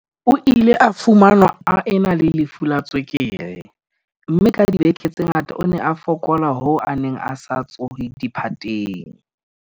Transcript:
O ile a fumanwa a ena le lefu la tswekere, mme ka dibeke tse ngata o ne a fokola hoo a neng a sa tsohe diphateng.